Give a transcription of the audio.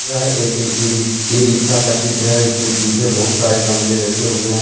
यह एक एक ई रिस ई रिक्सा का चित्र है इसके पीछे बहुत सारे गमले रखे हुए हैं।